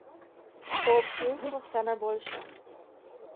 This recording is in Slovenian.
O občinstvu vse najboljše.